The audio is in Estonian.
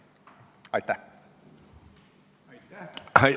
Aitäh!